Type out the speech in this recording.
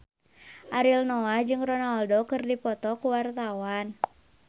Ariel Noah jeung Ronaldo keur dipoto ku wartawan